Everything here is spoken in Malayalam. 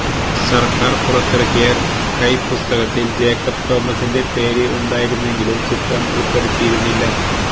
സർക്കാർ പുറത്തിറക്കിയ കൈ പുസ്തകത്തിൽ ജേക്കബ് തോമസിന്റെ പേര് ഉണ്ടായിരുന്നെങ്കിലും ചിത്രം ഉൾപ്പെടുത്തിയിരുന്നില്ല